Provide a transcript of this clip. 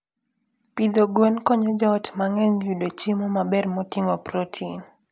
Pidho gwen konyo joot mang'eny yudo chiemo maber moting'o protein.